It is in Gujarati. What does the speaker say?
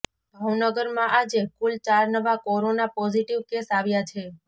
ભાવનગરમાં આજે કુલ ચાર નવા કોરોના પોઝિટિવ કેસ આવ્યા છે